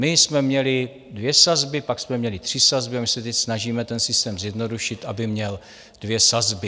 My jsme měli dvě sazby, pak jsme měli tři sazby a my se teď snažíme ten systém zjednodušit, aby měl dvě sazby.